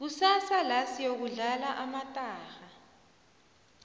kusasa la siyokudlala amatarha